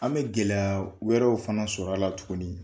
An bɛ gɛlɛya wɛrɛw fana sɔr'a la tuguni.